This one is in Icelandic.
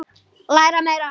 Læra meira.